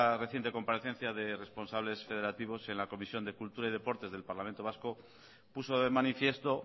reciente comparecencia de responsables federativos en la comisión de cultura y deporte del parlamento vasco puso de manifiesto